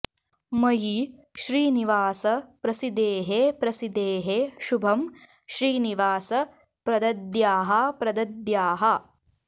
मयि श्रीनिवास प्रसीदेः प्रसीदेः शुभं श्रीनिवास प्रदद्याः प्रदद्याः